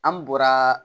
An bɔra